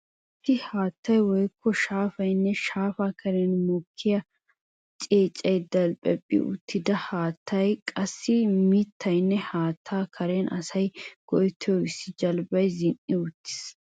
Issi haattay woykko shaafaynne shaafa karen mokkida ceeccaynne delphphephi uttida haattay qassikka mittaynne haatta karen asay go'ettiyo issi jalbbay zin'ii uttiis.